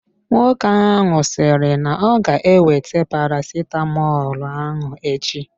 Nwoke ahụ sịrị na-oga ewete paracetamolu ahụ echi.